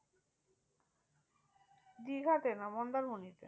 দীঘাতে না মন্দারমণিতে।